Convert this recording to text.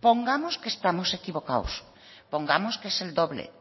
pongamos que estamos equivocados pongamos que es el doble